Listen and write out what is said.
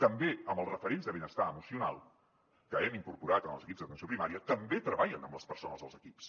també amb els referents de benestar emocional que hem incorporat en els equips d’atenció primària també treballen amb les persones dels equips